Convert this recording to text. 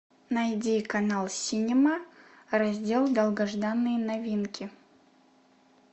найди канал синема раздел долгожданные новинки